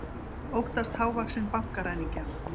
Óttast hávaxinn bankaræningja